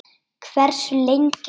Hversu lengi?